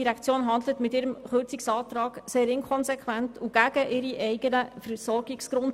Die GEF handelt mit ihrem Kürzungsantrag sehr inkonsequent und gegen ihre eigenen Versorgungsgrundsätze.